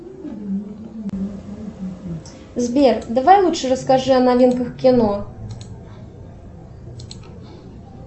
сбер давай лучше расскажи о новинках кино